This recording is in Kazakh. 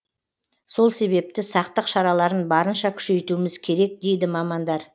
сол себепті сақтық шараларын барынша күшейтуіміз керек дейді мамандар